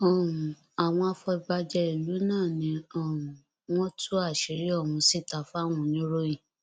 um àwọn afọbajẹ ìlú náà ni um wọn tú àṣírí ọhún síta fáwọn oníròyìn